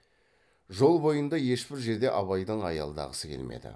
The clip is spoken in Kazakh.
жол бойында ешбір жерде абайдың аялдағысы келмеді